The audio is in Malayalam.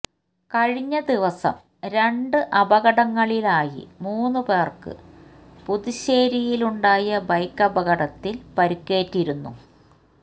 കഴിഞ് ദിവസം രണ്ട് അപകടങ്ങളിലായി മൂന്നു പേര്ക്ക് പുതുശ്ശേരിയിലുണ്ടായ ബൈക്കപകടത്തില് പരിക്കേറ്റിരുന്നു